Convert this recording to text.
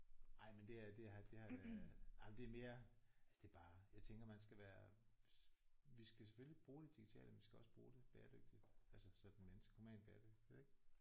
Ej men det er det er det er øh jamen det er mere altså det er bare jeg tænker man skal være vi skal selvfølgelig bruge det digitale men vi skal også bruge det bæredygtigt altså sådan mindske normalt bæredygtigt ik